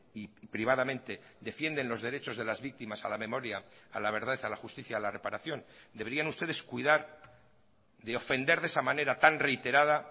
y privadamente defienden los derechos de las víctimas a la memoria a la verdad a la justicia a la reparación deberían ustedes cuidar de ofender de esa manera tan reiterada